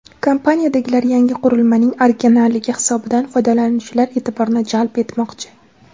Kompaniyadagilar yangi qurilmaning originalligi hisobidan foydalanuvchilar e’tiborini jalb etmoqchi.